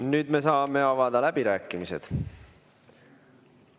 Nüüd me saame avada läbirääkimised.